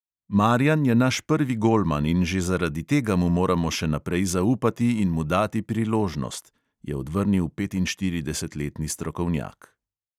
"Marijan je naš prvi golman in že zaradi tega mu moramo še naprej zaupati in mu dati priložnost," je odvrnil petinštiridesetletni strokovnjak.